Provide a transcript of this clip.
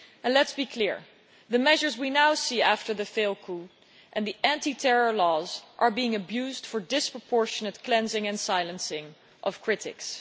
Let us be clear the measures we now see after the failed coup and the anti terror laws are being abused for disproportionate cleansing and silencing of critics.